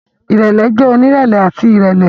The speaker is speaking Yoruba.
Irẹlẹ jẹ onirẹlẹ ati irẹlẹ.